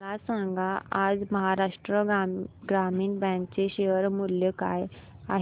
मला सांगा आज महाराष्ट्र ग्रामीण बँक चे शेअर मूल्य काय आहे